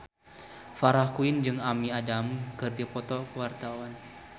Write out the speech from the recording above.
Farah Quinn jeung Amy Adams keur dipoto ku wartawan